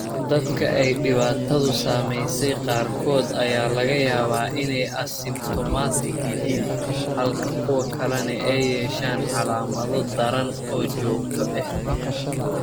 Dadka ay dhibaatadu saameysey qaarkood ayaa laga yaabaa inay asymptomatic yihiin halka kuwa kalena ay yeeshaan calaamado daran oo joogto ah.